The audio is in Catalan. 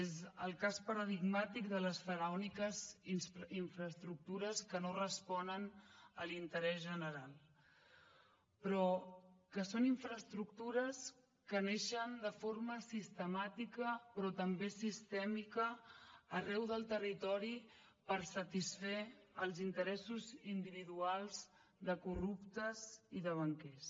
és el cas paradigmàtic de les faraòniques infraestructures que no responen a l’interès general però que són infraestructures que neixen de forma sistemàtica però també sistèmica arreu del territori per satisfer els interessos individuals de corruptes i de banquers